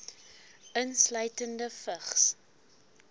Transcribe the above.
insluitende vigs